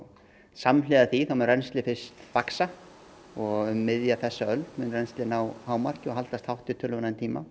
samhliða því mun rennsli fyrst vaxa og um miðja þessa öld mun rennsli ná hámarki og haldast hátt í töluverðan tíma